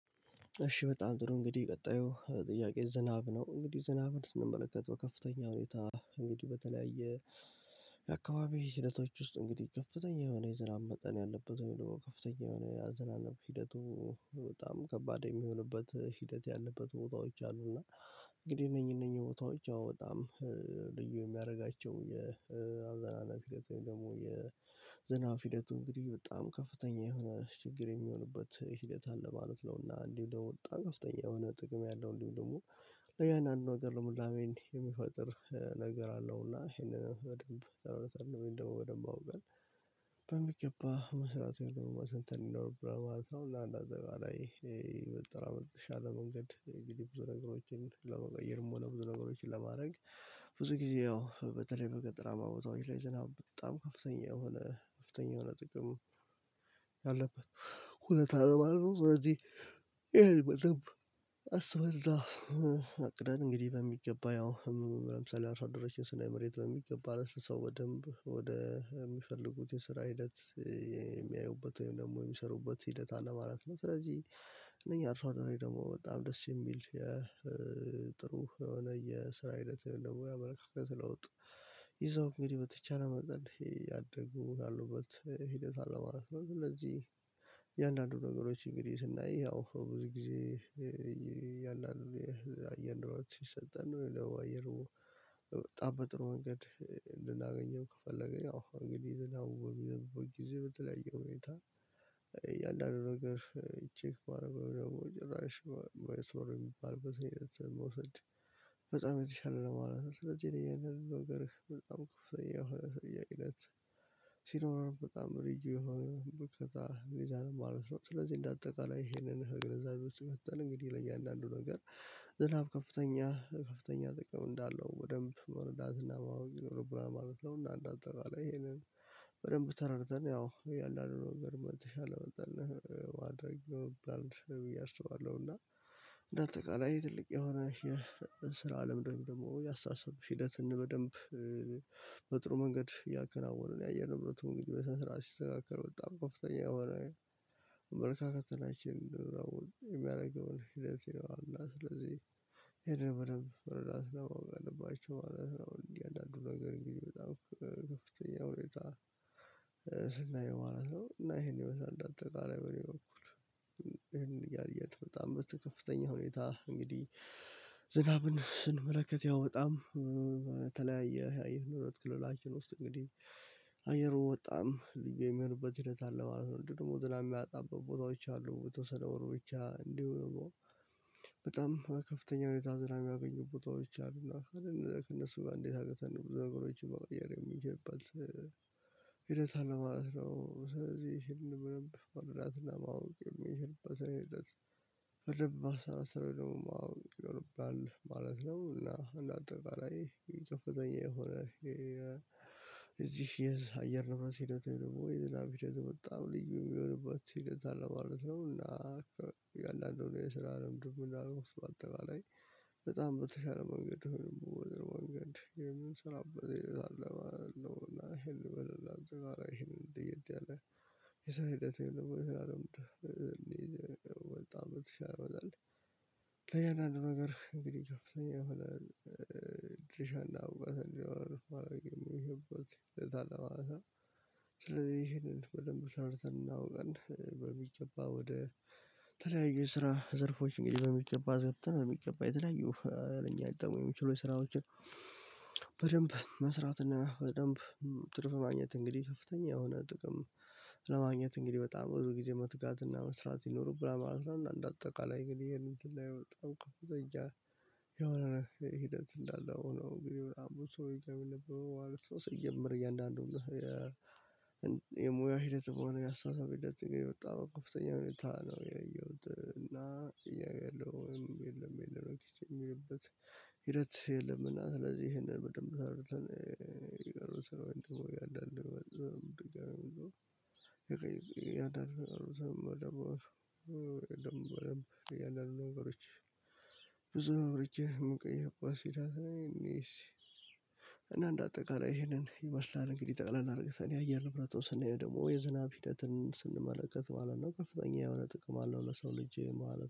እሺ በጣም ጥሩ እንግዲህ ቀጣዩ ጥያቄ ዝናብ ነው እንግዲህ ዝናብ ስንመለከተው ከፍተኛ ሁኔታ እንግዲህ በተለያየ የአካባቢው ሂደቶች ውስጥ እንግዲህ ከፍተኛ የሆነ የዝናብ መጠን ያለበት ወይም ደግሞ ከፍተኛ የሆነ ያዘናነብ ሂደቱ በጣም ከባድ የሚሆንበት ሂደት ያለበት ቦታዎች አሉና። እንግዲህ እነኚህ እነኚህ ቦታዎች ያው በጣም ልዩ የሚያደርጋቸው የአዘናነብ ሂደት ወይም ደግሞ የዝናብ ሂደቱ እንግዲህ በጣም ከፍተኛ የሆነ ችግር የሚሆንበት ሂደት አለ ማለት ነው። እና እንዲሁም ደግሞ በጣም ከፍተኛ የሆነ ጥቅም ያለው እንዲሁም ደግሞ ያን አንድ ነገር ልምላሜን የሚፈጥር ነገር አለው። እና ይሄንንም በደንብ አውርተን ወይም ደግሞ በደንብ አውቀን በሚገባ መስራት ነው መተንተን ነው ብላ ማለት ነው። እና እንዳጠቃላይ በቃ ላይ ይሄ በጠራመጥሽ አለ። መንገድ እንግዲህ ብዙ ነገሮችን ለመቀየርም ወደ ብዙ ነገሮች ለማድረግ ብዙ ጊዜ ያው በተለይ በገጠራማ ቦታዎች ላይ ዝናብ በጣም ከፍተኛ የሆነ ከፍተኛ የሆነ ጥቅም ያለበት ሁኔታ አለ ማለት ነው። ስለዚህ ይሄን በደንብ አስበንና አቅደን እንግዲህ በሚገባ ያው ለምሳሌ አርሶአደሮችን ስናይ መሬት በሚገባ አለስልሳው በደንብ ወደ የሚፈልጉት የስራ ሂደት የሚያዩበት ወይም ደግሞ የሚሰሩበት ሂደት አለማለት ነው። ስለዚህ እነኚህ አርሶ አደሮች ደግሞ በጣም ደስ የሚል የጥሩ የሆነ የስራ ህይወት የለሙያ መልካም ለውጥ ይዘው እንግዲህ በተቻለ መጠን ያደጉ እላለሁበት ያሉበት ሂደት አለማለት ነው። ስለዚህ እያንዳንዱ ነገሮች እንግዲህ ስናይ ያው ብዙ ጊዜ ያን ያህል አየነው ሲሰጠን ነው። የለው አየሩ በጣም በጥሩ መንገድ ልናገኘው ከፈለገኝ አዎ እንግዲህ ዝናብ ዝናብ ቦታ ጊዜ በተለያየ ሁኔታ እያንዳንዱ ነገር ቼክ ባደረገው ደግሞ ጭራሽ ባይሰሩ የሚባል በሰኔ መውሰድ የተሻለ ለማለት ነው። ስለዚህ የነገርክ በጣም ክፍተኛ የሆነ ጥያቄነት ሲኖርህ በጣም ሪጅ የሆነ ብርቅ ታህሜዛ ነው ማለት ነው። ስለዚህ እንደ አጠቃላይ ይሄንን ከግንዛቤ ውስጥ በተለው እንግዲህ ለእያንዳንዱ ነገር ዝናብ ከፍተኛ ከፍተኛ ጥቅም እንዳለው ወደንብ መረዳትና ማወቅ ይኖርብና ማለት ነው። እና እንደው በጣም ይሄንን በደንብ ተረድተን ያው እያለ አይደለም ገረመት የተሻለ መጠን አድርገው በአንድ እያርሰዋለሁ። እና በአጠቃላይ ትልቅ የሆነ የስራ አለም ደግሞ ያሳሰብን ሂደት በደንብ በጥሩ መንገድ እያከናወንን የአየር ንብረት መንገድ በሰንሰራት ሲተካከል በጣም ከፍተኛ ሆና መልካከት ናችን እንድንረው የሚያደርገውን ሂደት ነው። እና ስለዚህ ይሄን በደንብ ራስ ለማወቅ አለባቸው ማለት ነው። እንዲህ አዳዱ ነገር እንግዲህ በጣም ከፍተኛ ሁኔታ ስናየው ማለት ነው። እና ይሄን የበሻ እንዳጠቃላይ በኔ ነው እኮ እንደው እንደው እያየን በጣም በተከፍተኛ ሁኔታ እንግዲህ ዝናብን ስንመለከት ያወጣም በተለያየ ህያዬ ነው ሁለት ክልላችን ውስጥ እንግዲህ አየሩ ወጣም የሚሮበት ሂደት አለ ማለት ነው። ደግሞ ዝም ብላ የሚያጣበት ቦታዎች አሉ በተወሰነ ወር ብቻ እንዲሆን። ከፍተኛ ሁኔታ ዝራሚ ያገኙ ቦታዎች አሉና ካልን ከእነሱ ጋር እንዴት አገተን ነው በነገሮች መዋየር የሚችልበት ሂደት አለ ማለት ነው። ስለዚህ ምንም ማወቅ የሚችልበት አይነት ፈረብ በአስራ ሰራዊ ደግሞ ማወቅ ይሆንብናል ማለት ነው። እና እንደ አጠቃላይ የጥፍተኛ የሆነ እዚህ የአየር ነው የምረስ ሄደው ደግሞ የዝናብ ሂደት ወጣ ልዩ የሚሆንበት ሂደት አለ ማለት ነው። እና አንዳንዶቹ የስራ ልምድብ ምንድነው? በአጠቃላይ በጣም በተሻለ መንገድ ሆነም ወደ ወንገድ የምንሰራው በሌሎች አለው እና ይሄን በለላ አጋራ ይሄን እንደየች አለ የሰራ ሂደት የለውም። ይሄን አለም እኔ ወጣ በጣም ትችላለህ። ለያን አንድ ነገር እንግዲህ ይገርሰኛል። ድርሻ እንዳውቀው እንዲሆን አላውቅም። ይሄን በደንብ ይሄንን በደንብ ተሰርተን እናውቀን በሚጨባ ወደ ተለያዩ ስራ ዘርፎች እንግዲህ በሚገባ ዘርፍተን በሚገባ የተለያዩ ለኛ ጋር የሚችሉ የስራዎችን በደንብ መስራት እና በደንብ ትርፍ ማግኘት እንግዲህ ከፍተኛ የሆነ ጥቅም ለማግኘት እንግዲህ በጣም ብዙ ጊዜ መትጋት እና መስራት ይኖርብላል ማለት ነው። አንድ አጠቃላይ ግን ይሄንን ስላየው በጣም ከፍ ተጠያለች የሆነ ሂደት እንዳለው ነው እንግዲህ ብላ ብዙ ሰው የሚል ነበር ማለት ነው። ሰው ሲጀመር እያንዳንዱ የሙያ ሂደት መሆን ያሳሳብህ የወጣው ኮፍተኛ ሁኔታ ነው ያየሁት። እና እያለው የለውም የለም የለም ኪች የሚልበት ሂደት የለምና። ስለዚህ ይሄንን በደንብ ታርተን ስራ እንደሞቀ አዳም ደግሞ። የቀይ ያዳም የገሩ ሰው ነው የገሩ ደም ደም ደም ደም ደም የለም። ነገሮች ብዙ ነው ርጄ መቀየር ቋሲዳ። እንደአንድ አጠቃላይ ይሄንን ይመስላል እንግዲህ ጠቅላላ አድርገህ ሰኔ አየር ንብረት እንደምንሄድ ደግሞ የዝናብ ሂደትን ስንመለከት ማለት ነው ከፍተኛ የሆነ ጥቅም አለው። ለሰው ልጅ ማለት